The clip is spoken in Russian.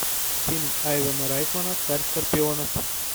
фильм айвена райтмана царь скорпионов